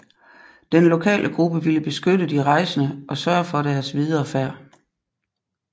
Den lokale gruppe ville beskytte de rejsende og sørge for deres videre færd